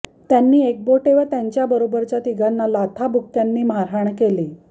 त्यांनी एकबोटे व त्यांच्याबरोबरच्या तिघांना लाथाबुक्क्यांनी मारहाण केली